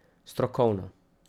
Strokovno.